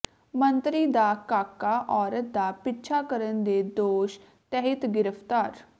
ਮੰਤਰੀ ਦਾ ਕਾਕਾ ਔਰਤ ਦਾ ਪਿੱਛਾ ਕਰਨ ਦੇ ਦੋਸ਼ ਤਹਿਤ ਗ੍ਰਿਫ਼ਤਾਰ